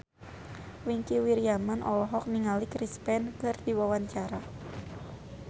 Wingky Wiryawan olohok ningali Chris Pane keur diwawancara